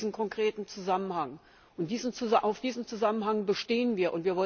Es gibt diesen konkreten Zusammenhang, und auf diesem Zusammenhang bestehen wir.